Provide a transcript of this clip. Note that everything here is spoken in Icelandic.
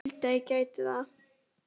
En ég vildi að ég gæti það.